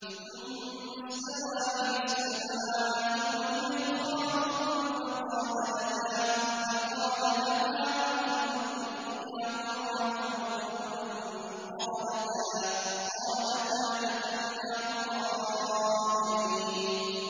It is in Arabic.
ثُمَّ اسْتَوَىٰ إِلَى السَّمَاءِ وَهِيَ دُخَانٌ فَقَالَ لَهَا وَلِلْأَرْضِ ائْتِيَا طَوْعًا أَوْ كَرْهًا قَالَتَا أَتَيْنَا طَائِعِينَ